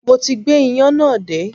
Mo ti gbé iyán náà dé